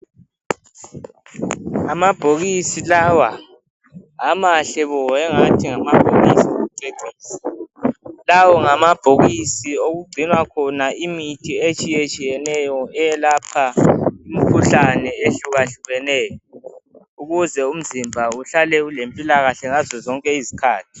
Amabhokisi lawa mahle bo ngathi ngamabokisi okucecisa. Lawa ngamabhokisi okugcinwa khona imithi etshiyetshiyeneyo eyelapha imikhuhlane ehlukahlukeneyo ukuze umzimba uhlale ulempilakahkr zonke izikhathi.